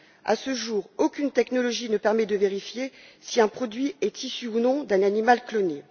À ce jour, aucune technologie ne permet de vérifier si un produit est issu ou non d'un animal cloné.